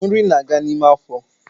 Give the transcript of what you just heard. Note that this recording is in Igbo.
Nri na aga n’ime afo